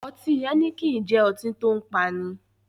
Ọtí Heineken jẹ́ ọtí tòun paani.